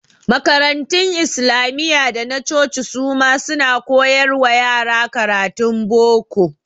Makarantun Islamiyya da na coci su ma suna koyar wa yara karatun boko.